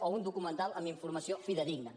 o un documental amb informació fidedigna